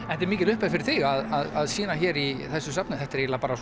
þetta er mikil upphefð fyrir þig að sýna hér í þessu safni þetta er eiginlega bara